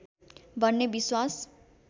भन्ने विश्वास